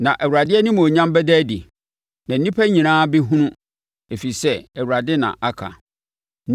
Na Awurade animuonyam bɛda adi, na nnipa nyinaa bɛhunu. Ɛfiri sɛ Awurade na aka!”